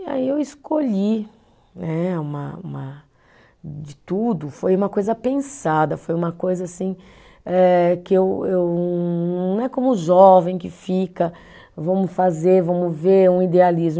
E aí eu escolhi né, uma uma, de tudo, foi uma coisa pensada, foi uma coisa assim eh que eu eu, não é como jovem que fica, vamos fazer, vamos ver, um idealismo.